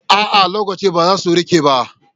A'a, lakcoci ba za su riƙe ba.